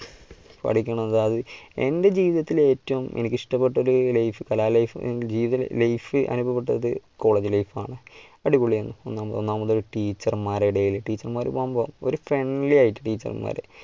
പഠിക്കണം എന്റെ ജീവിതത്തിൽ ഏറ്റവും എനിക്ക് ഇഷ്ടപ്പെട്ടത് ഒരു life കലാ life ജീവിത life അനുഭവപ്പെട്ടത് college life ആണ്. അടിപൊളിയാണ് ഒന്നാമത്തെ teacher മാരുടെ ഇടയിൽ teacher മാരും ഒരു friendly ആയിട്ട് teacher മാര്